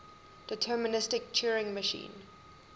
deterministic turing machine